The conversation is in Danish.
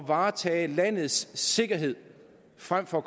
varetage landets sikkerhed frem for